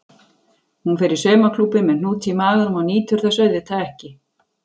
Hún fer í saumaklúbbinn með hnút í maganum og nýtur þess auðvitað ekki.